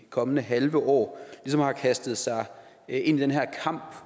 kommende halve år ligesom har kastet sig ind i den her kamp